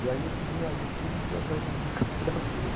E aí eu larguei tudo e fui atrás da musicoterapia.